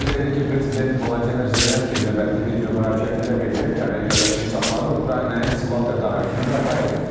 Onu da qeyd edək ki, prezident Vladimir Zelenski növbəti videomüraciətində bildirib ki, Amerika Birləşmiş Ştatları Ukraynaya silah tədarükünü bərpa edib.